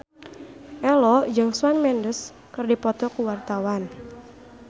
Ello jeung Shawn Mendes keur dipoto ku wartawan